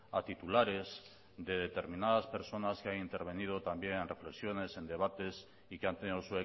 a titulares de determinadas personas que han intervenido también en reflexiones en debates y que han tenido